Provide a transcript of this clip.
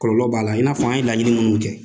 Kɔlɔlɔ b'a la, i n'a fɔ an ye laɲini minnu kɛ.